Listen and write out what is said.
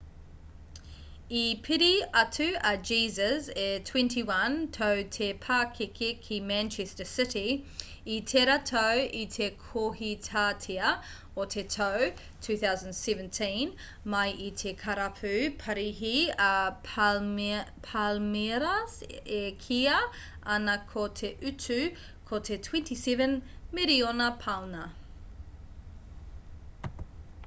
i piri atu a jesus e 21 tau te pakeke ki manchester city i tērā tau i te kohitātea o te tau 2017 mai i te karapu parihi a palmeiras e kīia ana ko te utu ko te 27 miriona pauna